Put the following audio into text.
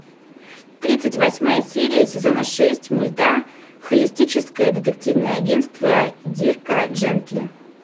тридцать восьмая серия сезона шесть мульта холистическое детективное агентство дирка джентли